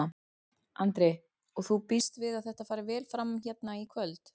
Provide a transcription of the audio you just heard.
Andri: Og þú býst við að þetta fari vel fram hérna í kvöld?